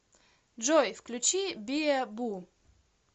джой включи биэ бу